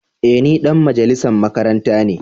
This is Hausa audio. Eh ni dan majalisan makaranta ne.